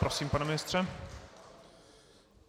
Prosím, pane ministře.